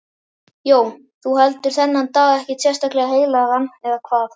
Jón: Þú heldur þennan dag ekkert sérstaklega heilagan, eða hvað?